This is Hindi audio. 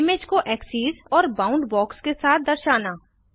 इमेज को एक्सेस और बाउंड बॉक्स के साथ दर्शाना